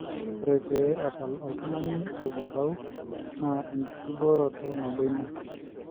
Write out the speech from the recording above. ore pee epal otungani orkumpau naa enkibooret nabo ina